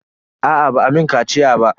Aa ba a mun kaciya ba.